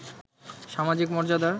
সামাজিক মর্যাদার